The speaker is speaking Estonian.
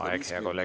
Aeg, hea kolleeg!